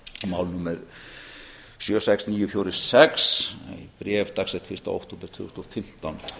mál númer sjötíu og sex nítján hundruð fjörutíu og sex bréf dagsett fyrsta október tvö þúsund og fimmtán